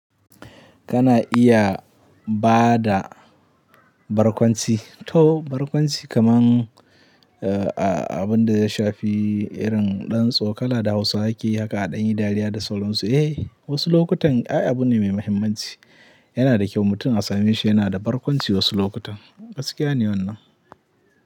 Kana iya ba da barkwanci to barkwanci kaman abin da ya shafi irin ɗan tsokala, da Hausawa ke yi haka a ɗan yi dariya da sauran su. Eh, wasu lokutan ai abu ne mai mahimmanci. Yana da kyau mutum a same shi yana da barkwanci wasu lokutan. Gaskiya ne wannan.